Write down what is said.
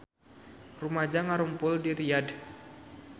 Rumaja ngarumpul di Riyadh